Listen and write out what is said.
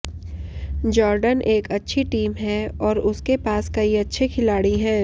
Jordan एक अच्छी team है और उसके पास कई अच्छे खिलाड़ी हैं